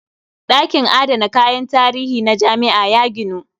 Ɗakin adana kayan tarihi na jami'a ya ginu.